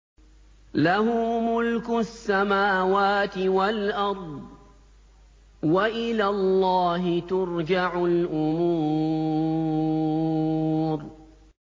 لَّهُ مُلْكُ السَّمَاوَاتِ وَالْأَرْضِ ۚ وَإِلَى اللَّهِ تُرْجَعُ الْأُمُورُ